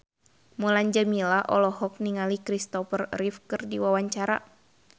Mulan Jameela olohok ningali Christopher Reeve keur diwawancara